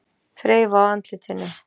Þreifa á andlitinu.